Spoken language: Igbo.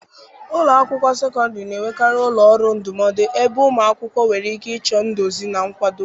Ụlọ akwụkwọ sekọndịrị na-enwekarị ụlọ ọrụ ndụmọdụ ebe ụmụ akwụkwọ nwere ike ịchọ nduzi na nkwado